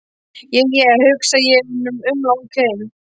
Je je, hugsa ég en umla ókei.